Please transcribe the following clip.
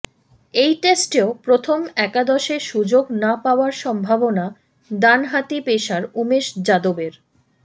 এই টেস্টেও প্রথম একাদশে সুযোগ না পাওয়ার সম্ভাবনা ডানহাতি পেসার উমেশ যাদবের